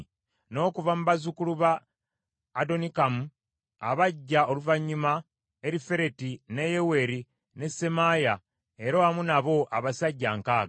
n’okuva mu bazzukulu ba Adonikamu, abajja oluvannyuma, Erifereti, ne Yeyeri, ne Semaaya, era wamu nabo abasajja nkaaga (60);